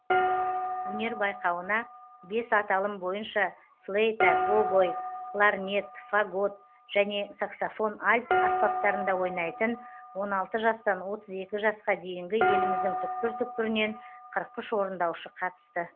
өнер байқауына бес аталым бойынша флейта гобой кларнет фагот және саксофон альт аспаптарында ойнайтын он алты жастан отыз екі жасқа дейінгі еліміздің түкпір түкпірінен қырық үш орындаушы қатысты